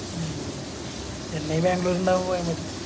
ഉം ചെന്നൈ ബാംഗ്ലൂര് ഇണ്ടാവുമ്പോ പോയ മതി